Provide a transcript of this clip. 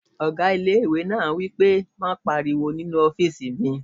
Ọgá ilé-ìwé náà wí pé "má pariwo nínu ọ́fìsì mi!"